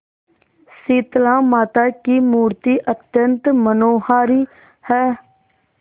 शीतलामाता की मूर्ति अत्यंत मनोहारी है